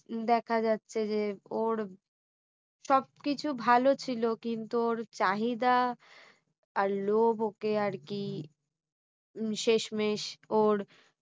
দেখা যাচ্ছে যে ওর সবকিছু ভালো ছিল কিন্তু ওর চাহিদা আর লোভ ওকে আর কি শেষমেষ ওর